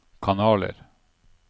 kanaler